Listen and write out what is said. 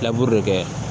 dɔ kɛ